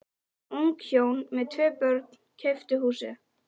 Ung hjón með tvö börn keyptu húsið.